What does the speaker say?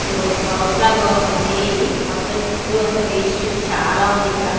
ఇదొగ house లాగా ఉంది ఇది మొత్తం చుట్టూ అంత వేస్టుంది చాలా ఉంది ఇక్కడ.